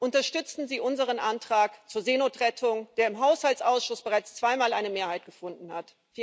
Unterstützen Sie unseren Antrag zur Seenotrettung, der im Haushaltsausschuss bereits zweimal eine Mehrheit gefunden hat.